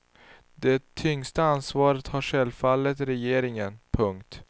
Det tyngsta ansvaret har självfallet regeringen. punkt